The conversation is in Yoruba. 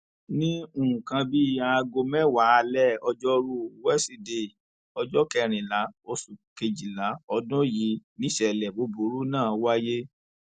ní nǹkan bíi aago mẹwàá alẹ ọjọrùú wíṣídẹẹ ọjọ kẹrìnlá oṣù kejìlá ọdún yìí nìṣẹlẹ búburú náà wáyé